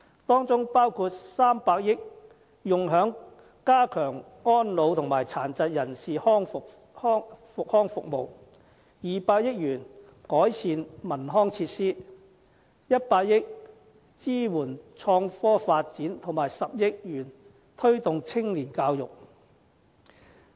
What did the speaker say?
當中，包括300億元用於加強安老和殘疾人士康復服務、200億元改善文康設施、100億元支援創科發展，以及10億元推動青年教育。